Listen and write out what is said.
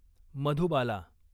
Madhubala